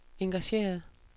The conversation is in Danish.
engageret